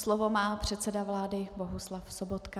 Slovo má předseda vlády Bohuslav Sobotka.